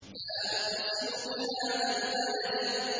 لَا أُقْسِمُ بِهَٰذَا الْبَلَدِ